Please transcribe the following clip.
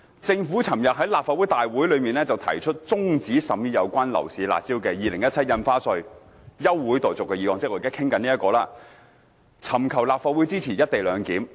"政府昨日在立法會大會提出中止審議有關樓市'辣招'的《2017年印花稅條例草案》休會待續議案"——即我們現在正討論的議案——"尋求立法會支持一地兩檢方案。